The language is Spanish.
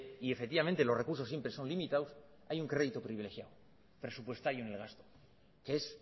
y efectivamente los recursos siempre son limitados hay un crédito privilegiado presupuestario en el gasto que es